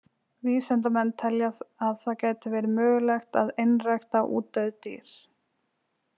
Vísindamenn telja að það geti verið mögulegt að einrækta útdauð dýr.